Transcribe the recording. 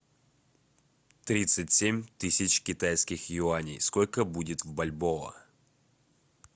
тридцать семь тысяч китайских юаней сколько будет в бальбоа